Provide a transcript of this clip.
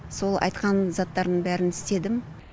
сол айтқан заттарын бәрін істедім